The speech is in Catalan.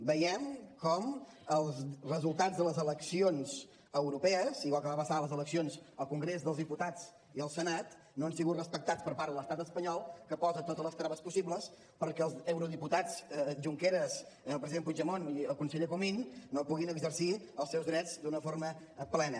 veiem com els resultats de les eleccions europees igual que va passar a les eleccions al congrés dels diputats i al senat no han sigut respectats per part de l’estat espanyol que posa totes les traves possibles perquè els eurodiputats junqueras el president puigdemont i el conseller comín no puguin exercir els seus drets d’una forma plena